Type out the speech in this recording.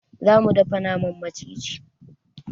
Za mu dafa naman maciji.